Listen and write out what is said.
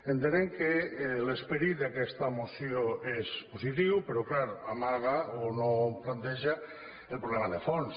entenem que l’esperit d’aquesta moció és positiu però és clar amaga o no planteja el problema de fons